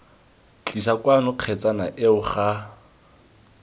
tlisa kwano kgetsana eo ga